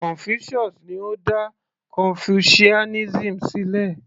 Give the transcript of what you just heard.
Confucius ni ó dá confucianism sílẹ̀